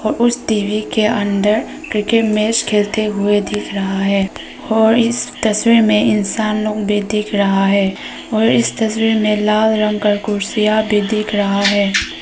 उस टी_वी के अंदर क्रिकेट मैच खेलते हुए दिख रहा है और इस तस्वीर में इंसान लोग भी दिख रहा है और इस तस्वीर में लाल रंग की कुर्सियां भी दिख रहा है।